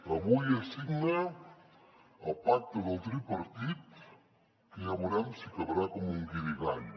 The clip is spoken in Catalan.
avui es signa el pacte del tripartit que ja veurem si acabarà com un guirigall